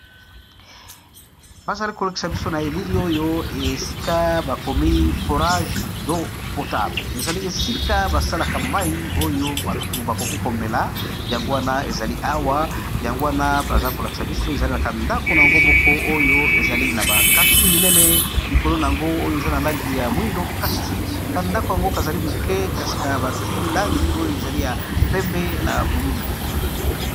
Ba zali ko lakisa biso na elili oyo esika ba komi forage do potable ezali esika ba salaka mai oyo bato ba koki komela yango wana ezali awa yango wana baza kolakisa biso ezali na ka ndako na yango moko oyo ezali na ba kantine minene likolo na yango oyo eza na langi ya mwindo kasi ka ndako yango ka zali moke kasika bati langi oyo ezali ya pembe na bululu.